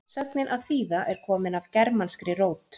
sögnin að þýða er komin af germanskri rót